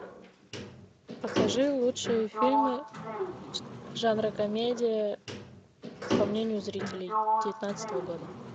покажи лучшие фильмы жанра комедия по мнению зрителей девятнадцатого года